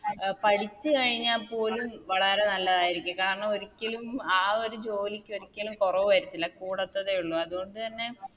അഹ് പഠിച്ച് കഴിഞ്ഞ പോലും വളരെ നല്ലതാരിക്കും കാരണം ഒരിക്കലും ആ ഒരു ജോലിക്ക് ഒരിക്കലും കൊറവ് വര്ത്തില്ല കൂടത്തതെ ഉള്ളു അത് കൊണ്ട് തന്നെ